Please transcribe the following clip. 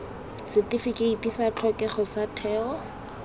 setifikeiti sa tlhokego sa setheo